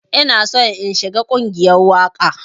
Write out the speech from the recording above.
Ina so in shiga ƙungiyar waƙa.